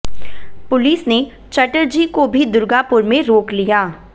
police ने चटर्जी को भी दुर्गापुर में रोक लिया